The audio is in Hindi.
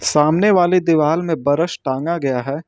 सामने वाले दीवाल में बरस टांगा गया है।